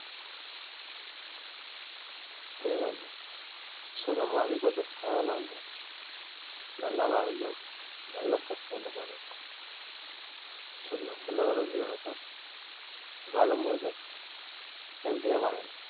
தேவையென்ன சுகமா அதுக்கு பதிலா சாவலாம் இல்லையா நல்லா வாழ்ந்தோம் நல்லா செத்தோன்ற மாதிரி இருக்கும் so நான் சொல்ல வர்றது இவளோதான் வாழும்போது healthy ஆ வாழணும்